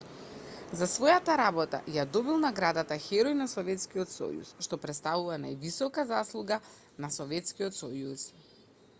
за својата работа ја добил наградата херој на советскиот сојуз што претставува највисока заслуга на советскиот сојуз